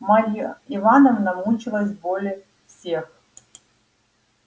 марья ивановна мучилась более всех